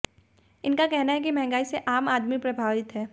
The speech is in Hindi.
इनका कहना है कि महंगाई से आम आदमी प्रभावित है